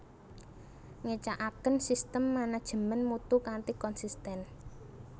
Ngecakaken sistem manajemen mutu kanthi konsisten